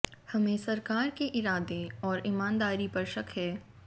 हमें सरकार के इरादे और ईमानदारी पर शक है